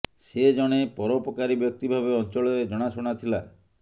ସେ ଜଣେ ପରୋପକାରୀ ବ୍ୟକ୍ତି ଭାବେ ଅଞ୍ଚଳରେ ଜଣାଶୁଣା ଥିଲା